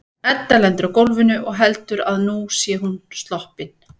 Edda lendir á gólfinu og heldur að nú sé hún sloppin.